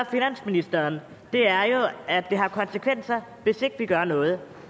finansministeren er jo at det har konsekvenser hvis ikke vi gør noget